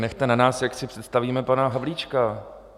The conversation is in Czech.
Nechte na nás, jak si představíme pana Havlíčka.